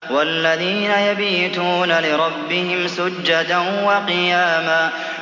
وَالَّذِينَ يَبِيتُونَ لِرَبِّهِمْ سُجَّدًا وَقِيَامًا